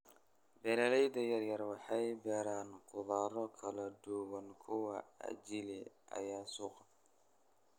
Beeraleyda yaryar waxay beeraan khudrado kala duwan kwa ajili ya suuqa.